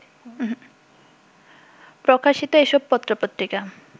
প্রকাশিত এসব পত্রপত্রিকা